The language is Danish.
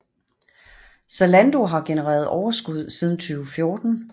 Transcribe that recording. Zalando har genereret overskud siden 2014